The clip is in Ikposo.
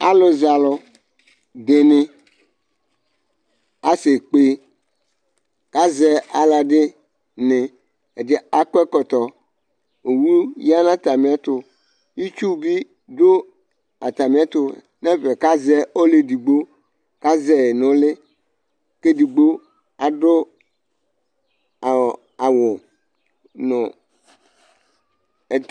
Alʊzalʊ dɩnɩ aseƙpe kazɛ alʊɛdinɩ, aƙɔ ɛƙɔtɔ, owʊ ƴa ŋʊ atamɩɛtʊ Ɩtsʊ ɓɩ dʊ atamɩɛtʊ ŋɛfɛ kazɛ atamɩ olʊedigbo, kazɛ ŋʊ ʊlɩ, kedigbo adʊ awʊ ŋʊ ɛt